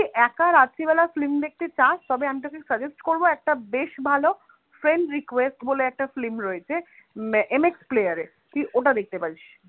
যদি একা রাত্রি বেলা film দেখতে চসা তবে আমি তোকে suggest করবো একটা বেশ ভালো friend request বলে একটা film রয়েছে এর এমএক্স player এ তুই ওটা দেখতে পারিস